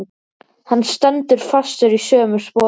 Hann stendur fastur í sömu sporum.